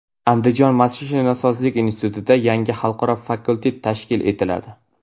Andijon mashinasozlik institutida yangi xalqaro fakultet tashkil etiladi.